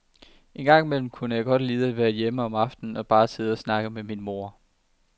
Engang imellem kunne jeg godt lide at være hjemme om aftenen og bare sidde og snakke med min mor.